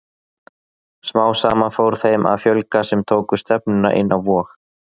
Smám saman fór þeim að fjölga sem tóku stefnuna inn á Vog.